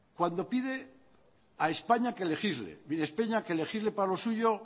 cuando pide a españa que legisle mire españa que legisle para lo suyo